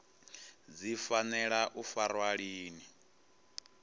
dzi fanela u farwa lini